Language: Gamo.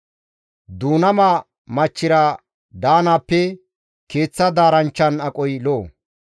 Duunama machchira daanaappe keeththa daaranchchan aqoy lo7o.